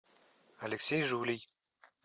алексей жулий